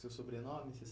Seu sobrenome, você